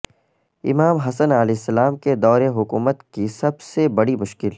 امام حسن علیہ السلام کے دور حکومت کی سب سے بڑی مشکل